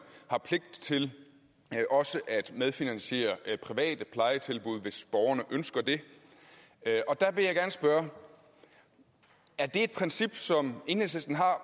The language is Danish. har pligt til også at medfinansiere private plejetilbud hvis borgerne ønsker det der vil jeg gerne spørge er det et princip som enhedslisten har